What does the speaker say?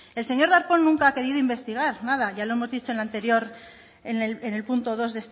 el señor darpón nunca ha querido investigar nada ya lo hemos dicho en la anterior en el punto dos